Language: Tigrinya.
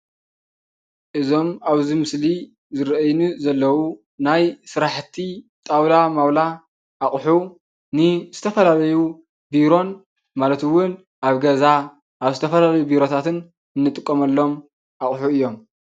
እዞም ኣብዚ ምስሊ ዝረኣዩኒ ዘለዉ ናይ ስራሕቲ ጣውላ ማዉላ ኣቁሑ ንዝተፈላለዩ ቢሮን ማለት እዉን ኣብ ገዛ ኣብ ዝተፈላለዩ ኣብ ዝተፈላለዩ ቢሮታት ንጥቀመሎም ኣቁሑ እዮም ።